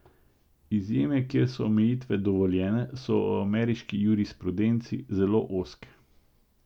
Izjeme, kjer so omejitve dovoljene, so v ameriški jurisprudenci zelo ozke.